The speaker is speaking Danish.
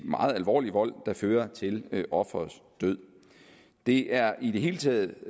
meget alvorlig vold der fører til offerets død det er i det hele taget